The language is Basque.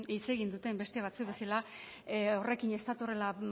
hitz egin duten beste batzuk bezala horrekin ez datorrela